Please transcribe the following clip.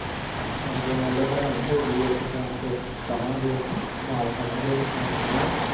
ਹੁਣ ਜੇ ਮੰਨਲਾ ਬਣਾਈ ਹੋਊਗੀ ਔਖੇ ਟੈਮ ਚ, ਕਹਵਾਂਗੇ ਤੇ ਨਾਲ਼ ਖੜਨਗੇ ਕਿਸੇ ਨਾਲ਼ ਕਿ ਨਹੀਂ